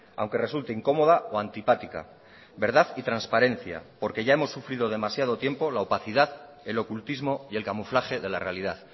aunque resulte incómoda o antipática verdad y transparencia porque ya hemos sufrido demasiado tiempo la opacidad el ocultismo y el camuflaje de la realidad